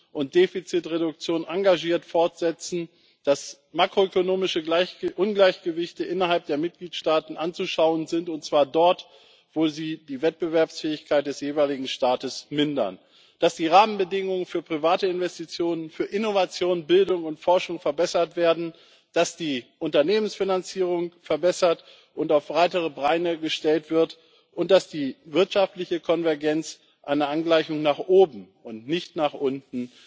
und Defizitreduktion engagiert fortsetzen, dass makroökonomische Ungleichgewichte innerhalb der Mitgliedstaaten anzuschauen sind und zwar dort, wo sie die Wettbewerbsfähigkeit des jeweiligen Staates mindern dass die Rahmenbedingungen für private Investitionen, für Innovation, Bildung und Forschung verbessert werden, dass die Unternehmensfinanzierung verbessert und auf breitere Beine gestellt wird und dass die wirtschaftliche Konvergenz eine Angleichung nach oben und nicht nach unten